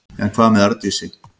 En hvað með Arndísi?